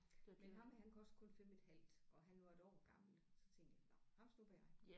Men ham her han kostede kun 5 et halvt og han var et år gammel så tænkte jeg nåh ham snupper jeg